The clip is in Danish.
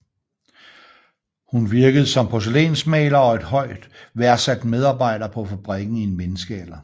Hun virkede som porcelænsmaler og en højt værdsat medarbejder på fabrikken i en menneskealder